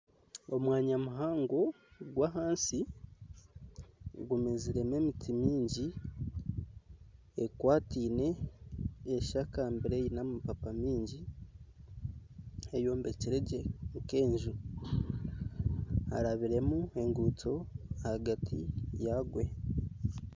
Omwanya muhango gw'ahansi gumeziremu emiti mingi ekwatiine eshakambire eine amababi mingi eyombekire gye nk'enju harabiremu enguuto ahagati yagyo.